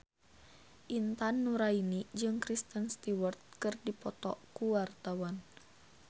Intan Nuraini jeung Kristen Stewart keur dipoto ku wartawan